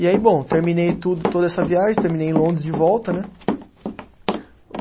E aí, bom, terminei tudo, toda essa viagem, terminei em Londres de volta, né?